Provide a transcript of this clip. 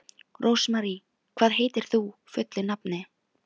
Rósmary, hvað heitir þú fullu nafni?